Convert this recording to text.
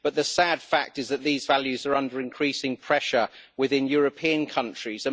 But the sad fact is that these values are under increasing pressure within European countries.